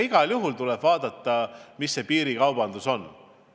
Igal juhul tuleb vaadata, mis piirikaubandusega toimub.